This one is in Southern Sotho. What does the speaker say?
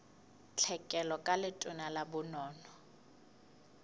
tlhekelo ka letona la bonono